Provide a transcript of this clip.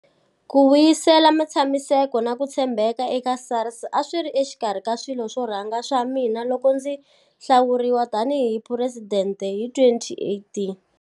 Ku vuyisela ntshamiseko na ku tshembeka eka SARS a swi ri exikarhi ka swilo swo rhanga swa mina loko ndzi hlawuriwa tanihi Phuresidente hi 2018.